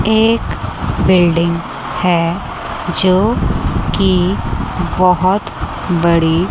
एक बिल्डिंग है जो कि बहुत बड़ी--